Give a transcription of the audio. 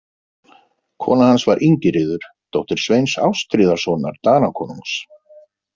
Kona hans var Ingiríður, dóttir Sveins Ástríðarsonar Danakonungs.